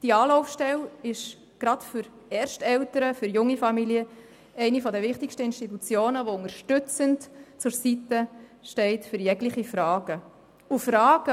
Diese Anlaufstelle ist besonders für Ersteltern, für junge Familien eine der wichtigsten Institutionen, die unterstützend für jegliche Fragen zur Seite steht.